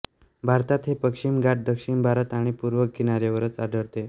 भारतात हे पश्चिम घाट दक्षिण भारत आणि पूर्व किनाऱ्यावरच आढळते